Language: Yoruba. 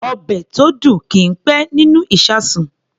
Ọbẹ̀ tó dùn kì í pẹ́ nínú ìṣasùn.